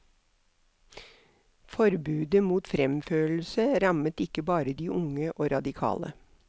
Forbudet mot fremførelse rammet ikke bare de unge og radikale.